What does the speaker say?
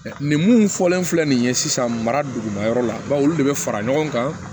nin mun fɔlen filɛ nin ye sisan mara dugu ma yɔrɔ la baw olu de bɛ fara ɲɔgɔn kan